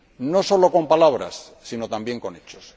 No solo con palabras, sino también con hechos.